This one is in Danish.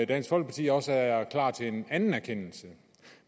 dansk folkeparti også er klar til en anden erkendelse